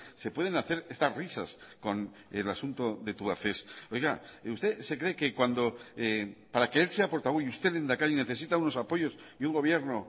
se pueden hacer estas risas con el asunto de tubacex oiga usted se cree que cuando para que él sea portavoz y usted lehendakari necesita unos apoyos y un gobierno